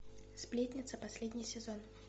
сплетница последний сезон